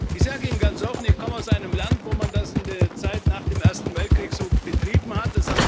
Ich sage Ihnen ganz offen, ich komme aus einem Land, wo man das in der Zeit nach dem Ersten Weltkrieg so betrieben hat.